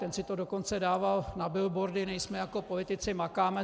Ten si to dokonce dával na billboardy: Nejsme jako politici, makáme.